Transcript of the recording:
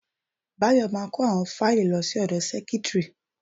Bayo ma kó àwọn fáìlì lọ sí ọ̀dọ sẹ́kítrì.